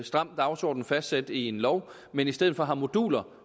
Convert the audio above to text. stram dagsorden fastsat i en lov men i stedet for har moduler